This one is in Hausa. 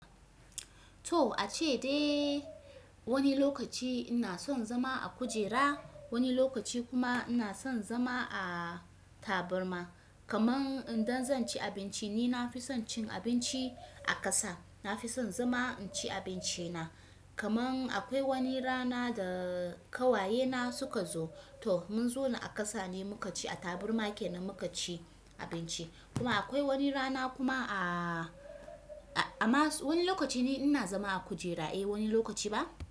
To, ace dai wani lokaci ina son zama a kujera, wani lokaci kuma ina son zama a taburma. Kaman indan zan ci abinci ni nafi son cin abinci a ƙasa, nafison zama inci abinci na. Kaman akwai wani rana da kawaye na suka zo, to mun zona a kasa ne muka ci, a taburma kenan muka ci abinci. Kuma akwai wani rana kuma a, a, amma wani lokaci ni ina zama a kujera, eh wani lokaci ba.